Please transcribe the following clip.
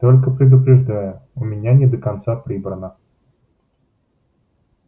только предупреждаю у меня не до конца прибрано